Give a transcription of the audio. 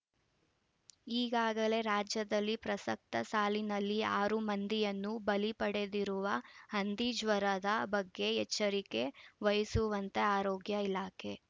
ಈಗಾಗಲೇ ರಾಜ್ಯದಲ್ಲಿ ಪ್ರಸಕ್ತ ಸಾಲಿನಲ್ಲಿ ಆರು ಮಂದಿಯನ್ನು ಬಲಿ ಪಡೆದಿರುವ ಹಂದಿ ಜ್ವರದ ಬಗ್ಗೆ ಎಚ್ಚರಿಕೆ ವಹಿಸುವಂತೆ ಆರೋಗ್ಯ ಇಲಾಖೆ